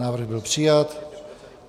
Návrh byl přijat.